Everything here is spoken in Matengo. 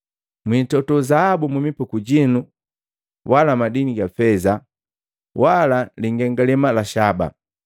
Mwiitoto zaabu mumipuku jinu wala feza, wala lingengalema la shaba.